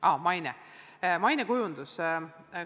Aa, maine, mainekujundus.